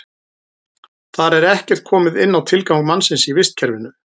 Þar er ekkert komið inn á tilgang mannsins í vistkerfinu.